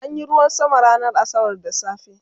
an Yi ruwan sama ranar asabar da safe